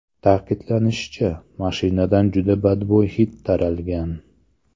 Ta’kidlanishicha, mashinadan juda badbo‘y hid taralgan.